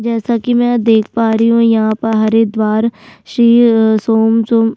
जैसा की मैं यहाँ पर देख पा रही हूँ यहाँ पर हरिद्वार सी शिव सोन सोन --